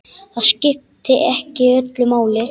Það skipti ekki öllu máli.